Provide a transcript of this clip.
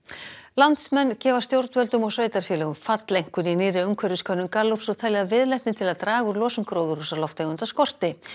landsmenn gefa stjórnvöldum og sveitarfélögum falleinkunn í nýrri umhverfiskönnun Gallups og telja að viðleitni til að draga úr losun gróðurhúsalofttegunda skorti